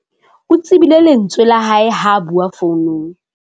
o tsebile lentswe la hae ha a bua founung